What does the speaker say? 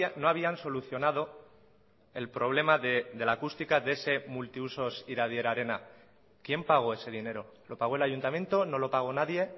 no habían solucionado el problema de la acústica de ese multiusos iradier arena quién pagó ese dinero lo pagó el ayuntamiento no lo pagó nadie